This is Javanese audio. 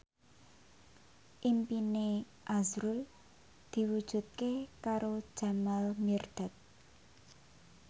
impine azrul diwujudke karo Jamal Mirdad